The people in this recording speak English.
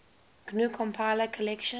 gnu compiler collection